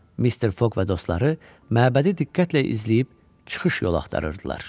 Mister Foq və dostları məbədi diqqətlə izləyib çıxış yolu axtarırdılar.